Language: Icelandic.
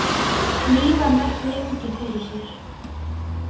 Því var velt lengi fyrir sér.